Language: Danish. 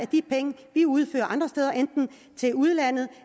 de penge vi uddeler andre steder enten til udlandet